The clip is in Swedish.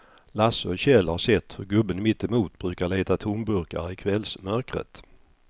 Lasse och Kjell har sett hur gubben mittemot brukar leta tomburkar i kvällsmörkret.